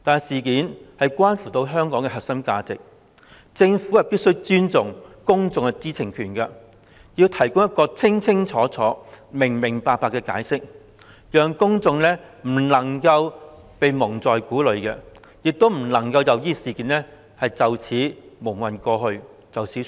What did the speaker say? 事件關乎香港的核心價值，政府必須尊重公眾的知情權，提供一個清清楚楚、明明白白的解釋，公眾不能被蒙在鼓裏，亦不能任由事件這樣蒙混過去而作罷。